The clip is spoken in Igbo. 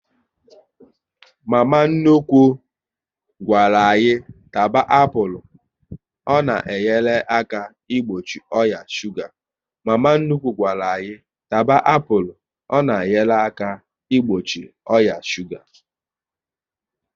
Mama nnukwu gwara anyị taba apụl, na ọ na enyere aka igbochi oya shuga